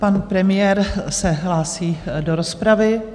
Pan premiér se hlásí do rozpravy.